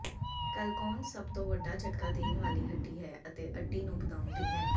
ਕੈਲਕੋਨਸ ਸਭ ਤੋਂ ਵੱਡਾ ਝਟਕਾ ਦੇਣ ਵਾਲੀ ਹੱਡੀ ਹੈ ਅਤੇ ਅੱਡੀ ਨੂੰ ਬਣਾਉਦੀ ਹੈ